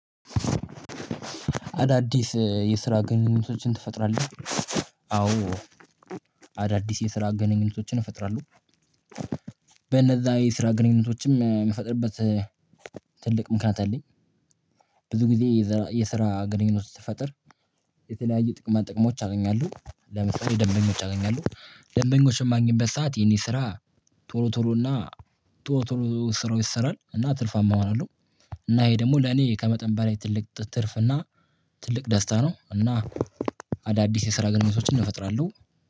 አዳዲስ የስራ ግንኙነቶችን ትፈጥራለህ? አዎ አዳዲስ የስራ ግንኙነቶችን እፈጥራለሁ በነዛ የስራ ግንኙነቶችም የምፈጥርበት ምክንያት አለኝ። ብዙ ጊዜ የስራ ግንኙነት ስትፈጥር የተለያየ ጥቅማን ጥቅሞች አገኛሁ። ለምሳሌ ደንበኞች አገኛሁ ደንበኞችን የማግኘበት ሰዓት ይሄን ስራ ቶሎ ቶሎ እና ቶሎ ቶሎ ስራው ይሰራል እና ትርፋማ እሆናለሁ። እና ይሄ ደግሞ ለኔ ከመጠን በላይ ትልቅ ትርፍ እና ትልቅ ደስታ ነው። እና አዳዲስ የስራ ገነቶችን እፈጥራለሁ።